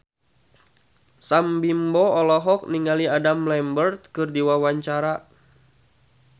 Sam Bimbo olohok ningali Adam Lambert keur diwawancara